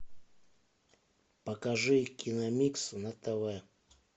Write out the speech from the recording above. покажи киномикс на тв